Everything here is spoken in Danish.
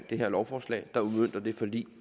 det her lovforslag der udmønter det forlig